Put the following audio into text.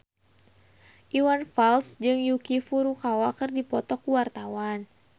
Iwan Fals jeung Yuki Furukawa keur dipoto ku wartawan